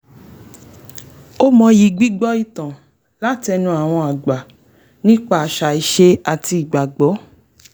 ó mọyì gbígbọ́ ìtàn látẹnu àwọn àgbà nípa àṣà ìṣe àti ìgbàgbọ́